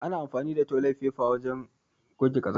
ana anfani da toli faifa ne wajen goge ƙazanta.